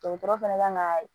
Dɔgɔtɔrɔ fɛnɛ ka kan ka